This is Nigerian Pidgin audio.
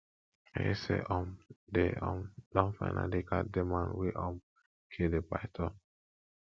i hear say um dey um don finally catch the man wey um kill the python